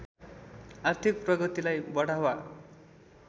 आर्थिक प्रगतिलाई बढावा